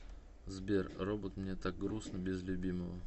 сбер робот мне так грустно без любимого